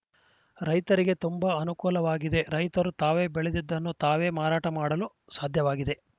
ರೈತರಿಗೆ ತುಂಬಾ ಅನುಕೂಲವಾಗಿದೆ ರೈತರು ತಾವು ಬೆಳೆದದ್ದನ್ನು ತಾವೇ ಮಾರಾಟ ಮಾಡಲು ಸಾಧ್ಯವಾಗಿದೆ